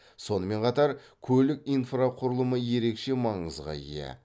сонымен қатар көлік инфрақұрылымы ерекше маңызға ие